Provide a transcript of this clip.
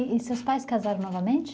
E seus pais casaram novamente?